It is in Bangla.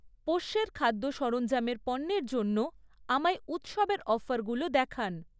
পোষ্যের খাদ্য সরঞ্জামের পণ্যের জন্য আমায় উৎসবের অফারগুলো দেখান।